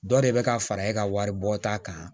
Dɔ de bɛ ka fara e ka waribɔta kan